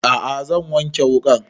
A'a zan wanke wuƙan